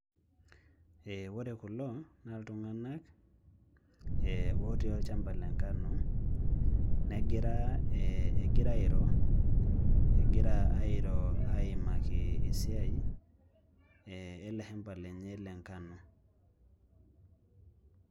Ee ore kulo naa iltunganak ee otii olchamba le nkano negira ee negira airo egira aaimaki esiai ee ele shamba lenye lenkano.